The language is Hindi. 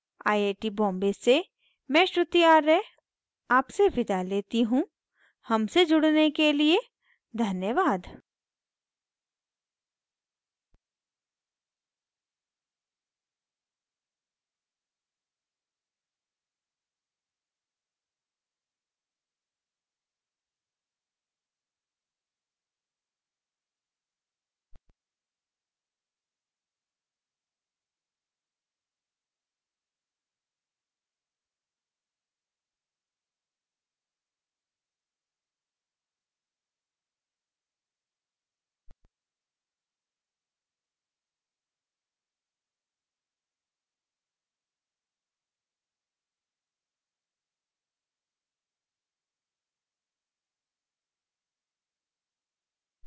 आई आई टी बॉम्बे से मैं श्रुति आर्य आपसे विदा लेती हूँ हमसे जुड़ने के लिए धन्यवाद